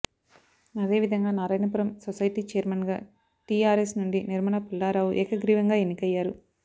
అదే విధంగా నారాయణపురం సొసైటీ చైర్మెన్గా టీఆర్ఎస్ నుండి నిర్మల పుల్లారావు ఏకగ్రీవంగా ఎన్నికయ్యారు